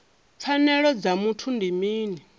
pfanelo dza vhuthu ndi mini